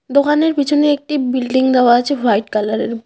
দোকানের পিছনে একটি বিল্ডিং দেওয়া আছে হোয়াট কালারের বা--